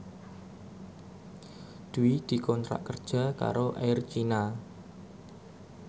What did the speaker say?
Dwi dikontrak kerja karo Air China